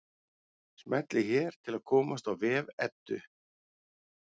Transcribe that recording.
Smellið hér til að komast á vef Eddu.